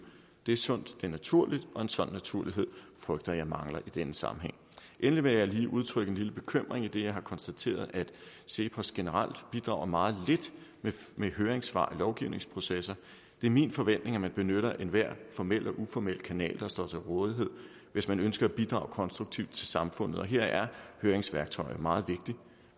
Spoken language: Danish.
det er sundt det er naturligt og en sådan naturlighed frygter jeg mangler i denne sammenhæng endelig vil jeg lige udtrykke en lille bekymring idet jeg har konstateret at cepos generelt bidrager meget lidt med høringssvar i lovgivningsprocessen det er min forventning at man benytter enhver formel og uformel kanal der står til rådighed hvis man ønsker at bidrage konstruktivt til samfundet og her er høringssværktøjet meget vigtigt